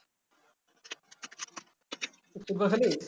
তুই ফুটবল খেলিস